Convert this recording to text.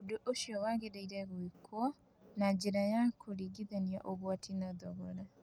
Ũndũ ũcio wagĩrĩirũo gwĩkwo na njĩra ya kũringithania ũgwati na thogora.